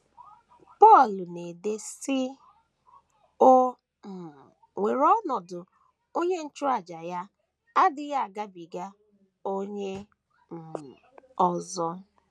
Pọl na - ede, sị: “ O um nwere ọnọdụ onye nchụàjà Ya na - adịghị agabiga onye um ọzọ.